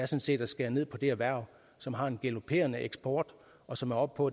set at skære ned på det erhverv som har en galoperende eksport og som er oppe på